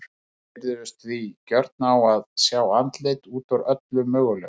Við virðumst því gjörn á að sjá andlit út úr öllu mögulegu.